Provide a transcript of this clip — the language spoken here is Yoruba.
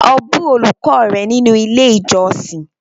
O bu olùkọ́ rẹ nínú ilé ìjósìn!